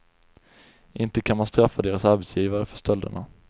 Inte kan man straffa deras arbetsgivare för stölderna.